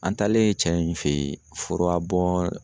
An taalen cɛ in fe yen furabɔn